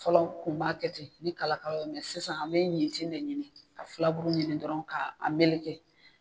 Fɔlɔ an kun b'a kɛ ten ni kala kala mɛ sisan, an bɛ ɲinti ɲini ka furabulu ɲini k'a meleke.